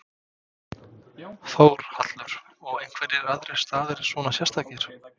Þórhallur: Og einhverjir aðrir staðir svona sérstakir?